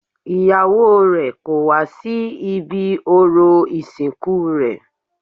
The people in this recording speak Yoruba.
Ìyàwó rè kò wá sí ibi orò ìsìnkú rẹ̀